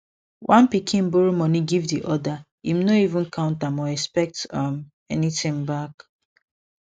one pikin borrow money give di other im no even count am or expect um anything back